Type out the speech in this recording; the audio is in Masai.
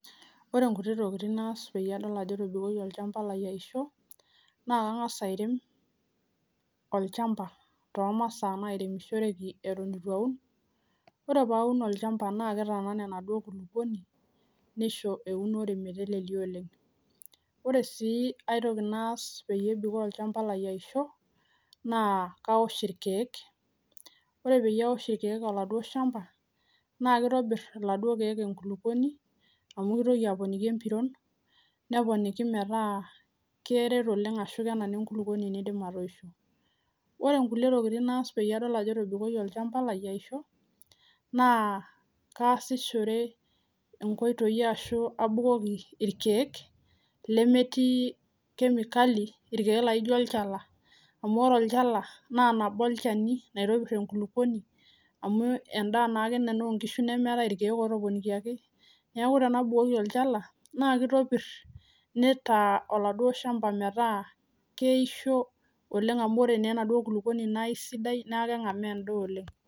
ore nkutik tokiting naitodol naa kangas airem olchamba toomasaa nairemishoreki nayiolou taa enetiu enterit paa katumoki taa atuuno endaa ore ae naas naa kawosh olchamba lai olchani naa keponiki oladuo shani olchamba metopiro nesidanu enterit nisho sii metoisho ore sii enkae naa kabukoki enkulukuoni amuu metii kemikali amuu ore olchala naa nabo oorkeek loitopir enkulukuoni nisho metoisho enaa enayiounoyu